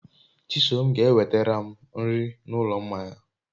Chisom ga enwetaram nri n'ulo mmanya